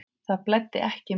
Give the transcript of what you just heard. Það blæddi ekki mikið.